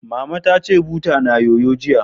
Mama ta ce, butar na yoyo, jiya